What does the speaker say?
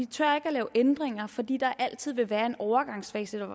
tør lave ændringer fordi der altid vil være en overgangsfase